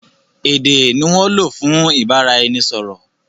Èdè ni wọ́n ń lò fún ìbáraẹnisọ̀rọ̀.